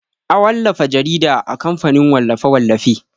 A wallafa jarida a kamfanin wallafe-wallafe.